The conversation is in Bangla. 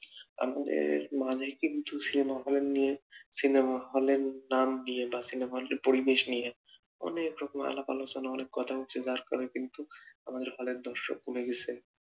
আমাদের মাঝে কিন্তু সিনেমা হল নিয়ে সিনেমা হলের নাম নিয়ে বা পরিবেশ নিয়ে অনেক রকম আলাপ-আলোচনা অনেক কথা উঠছে কিন্তু আমাদের দর্শক কমে গেছের